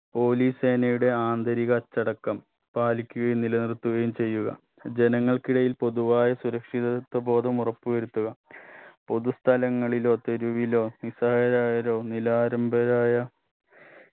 police സേനയുടെ ആന്തരിക അച്ചടക്കം പാലിക്കുകയും നിലനിർത്തുകയും ചെയ്യുക ജനങ്ങൾക്കിടയിൽ പൊതുവായ സുരക്ഷിതത്വ ബോധം ഉറപ്പുവരുത്തുക പൊതു സ്ഥലങ്ങളിലോ തെരുവിലോ നിസ്സഹായരായവരോ നിലാരംബരായ